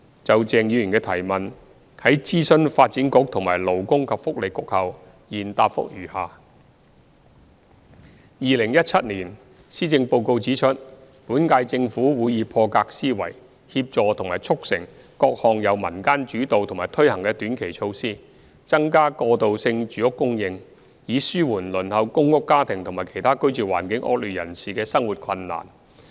就鄭議員的質詢，在諮詢發展局和勞工及福利局後，現答覆如下：一2017年施政報告指出，本屆政府會以破格思維，協助和促成各項由民間主導和推行的短期措施，增加過渡性住屋供應，以紓緩輪候公屋家庭和其他居住環境惡劣人士的生活困難。